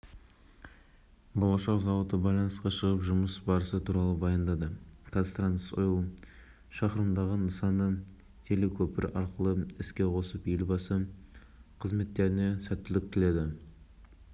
ғаламтордағы белгісі бар жапсырма айналысындағы дау аталмыш хабарлама ғаламтор қолданушыларының арасында үлкен дау туғызған болатын басқосуда